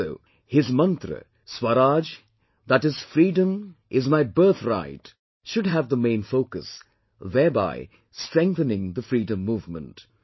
Also, his mantra "Swaraj, that is, freedom is my birthright" should have the main focus thereby strengthening the freedom movement